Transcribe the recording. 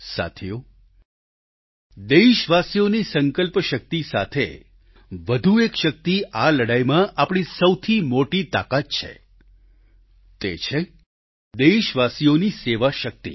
સાથીઓ દેશવાસીઓની સંકલ્પશક્તિ સાથે વધુ એક શક્તિ આ લડાઈમાં આપણી સૌથી મોટી તાકાત છે તે છે દેશવાસીઓની સેવાશક્તિ